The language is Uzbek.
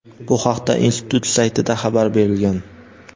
Bu haqda institut saytida xabar berilgan.